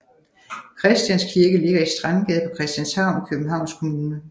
Christians Kirke ligger i Strandgade på Christianshavn i Københavns Kommune